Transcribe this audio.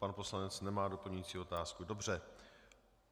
Pan poslanec nemá doplňující otázku, dobře.